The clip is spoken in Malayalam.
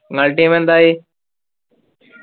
നിങ്ങളെ team എന്തായി